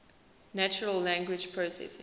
natural language processing